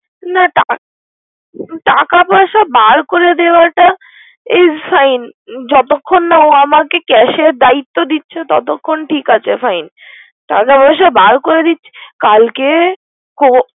না টা~ টাকা পয়সা বার করে দেওয়াটা its fine যতখন না ও আমাকে cash এর দায়িত্ব দিচ্ছে ততখন ঠিক আছে ভাই। টাকা পয়সা বার করে দিচ্চি।